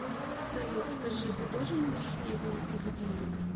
салют скажи ты тоже можешь мне завести будильник